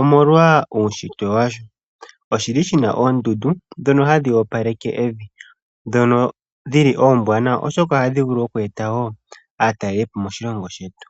omolwa uushitwe washo . Oshina oondundu dhono hadhi opaleke evi . Oondundu oombwanawa oshoka ohadhi vulu oku eta aatalelipo moshilongo shetu.